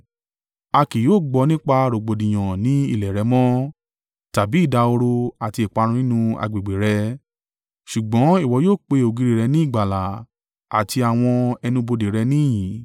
A kì yóò gbọ́ nípa rògbòdìyàn ní ilẹ̀ rẹ mọ́, tàbí ìdahoro àti ìparun nínú agbègbè rẹ, ṣùgbọ́n ìwọ yóò pe ògiri rẹ ní ìgbàlà àti àwọn ẹnu-bodè rẹ ní ìyìn.